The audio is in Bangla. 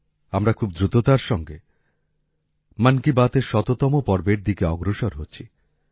আমরা খুব দ্রুততার সঙ্গে মন কি বাতএর শততম পর্বের দিকে অগ্রসর হচ্ছি